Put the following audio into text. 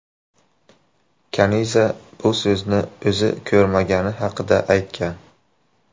Kaniza bu so‘zni o‘zi ko‘rmagani haqida aytgan.